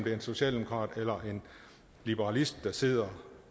er en socialdemokrat eller en liberalist der sidder